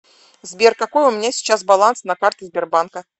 сбер какой у меня сейчас баланс на карте сбербанка